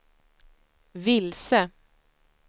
vilse